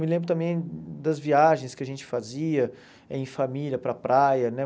Me lembro também das viagens que a gente fazia em família para a praia, né?